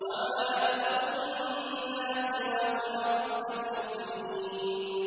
وَمَا أَكْثَرُ النَّاسِ وَلَوْ حَرَصْتَ بِمُؤْمِنِينَ